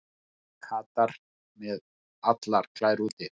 Katar með allar klær úti